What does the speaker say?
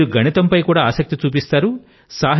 మీరు గణితం పై కూడా ఆసక్తి చూపుతారు